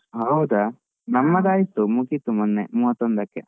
ಹೌದಾ, ನಮ್ಮದು ಆಯ್ತು ಮುಗೀತು ಮೊನ್ನೆ ಮೂವತ್ತೊಂದಕ್ಕೆ.